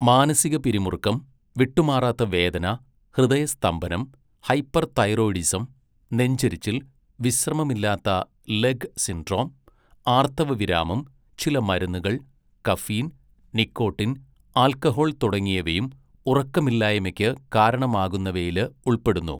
മാനസിക പിരിമുറുക്കം, വിട്ടുമാറാത്ത വേദന, ഹൃദയസ്തംഭനം, ഹൈപ്പർതൈറോയിഡിസം, നെഞ്ചെരിച്ചിൽ, വിശ്രമമില്ലാത്ത ലെഗ് സിൻഡ്രോം, ആർത്തവവിരാമം, ചില മരുന്നുകൾ, കഫീൻ, നിക്കോട്ടിൻ, ആൽക്കഹോൾ തുടങ്ങിയവയും ഉറക്കമില്ലായ്മയ്ക്ക് കാരണമാകുന്നവയില് ഉൾപ്പെടുന്നു.